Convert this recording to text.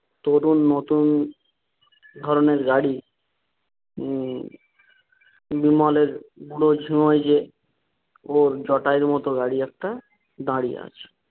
কেবল নতুন ধরণের গাড়ি উম একটি মডেল বেশ সহজেই জটায়ুর মতো গাড়ি একটা দাঁড়িয়ে আছে।